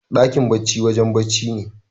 Dakin barci wajen da barci me.